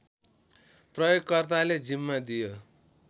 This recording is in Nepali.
प्रयोगकर्ताले जिम्मा दियो